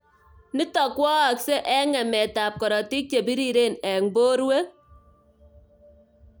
Nitok kwooksei eng ng'emet ab karotik chebiriren eng borwek.